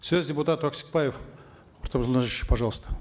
сөз депутат өксікбаев пожалуйста